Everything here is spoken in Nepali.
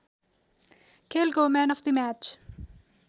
खेलको म्यान अफ द म्याच